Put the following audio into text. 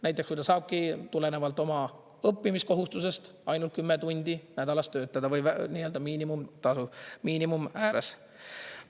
Näiteks, kui ta saabki tulenevalt oma õppimiskohustusest ainult 10 tundi nädalas töötada või miinimumtasu miinimumi ääres.